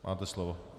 Máte slovo.